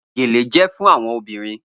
Gele jẹ fun awọn obirin